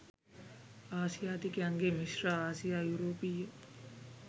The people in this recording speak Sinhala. ආසියාතිකයන්ගේ මිශ්‍ර ආසියා යුරෝපීය